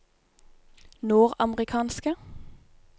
nordamerikanske